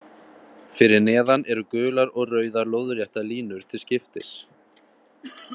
Fyrir neðan eru gular og rauðar lóðréttar línur til skiptis.